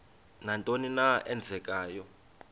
nantoni na eenzekayo